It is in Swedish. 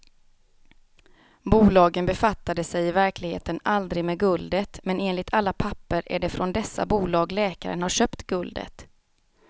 Bolagen befattade sig i verkligheten aldrig med guldet, men enligt alla papper är det från dessa bolag läkaren har köpt guldet.